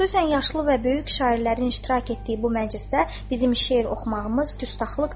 Xüsusən yaşlı və böyük şairlərin iştirak etdiyi bu məclisdə bizim şeir oxumağımız qüsxlıqdır.